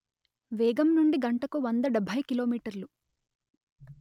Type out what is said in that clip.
వేగం నుండి గంటకు వంద డెబ్బై కిమీ